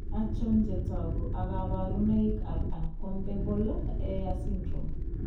Achon chetogu ak kaborunoik ab Uncombable hair syndrome